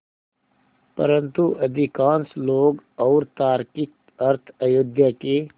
परन्तु अधिकांश लोग और तार्किक अर्थ अयोध्या के